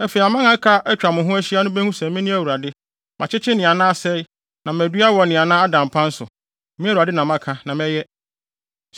Afei aman a aka a atwa mo ho ahyia no behu sɛ me Awurade makyekyere nea na asɛe na madua wɔ nea na ada mpan so, me Awurade na maka na mɛyɛ.’